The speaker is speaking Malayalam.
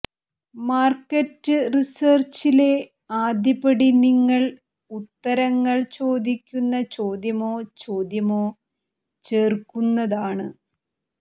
മാർക്കറ്റ് റിസേർച്ചിലെ ആദ്യ പടി നിങ്ങൾ ഉത്തരങ്ങൾ ചോദിക്കുന്ന ചോദ്യമോ ചോദ്യമോ ചേർക്കുന്നതാണ്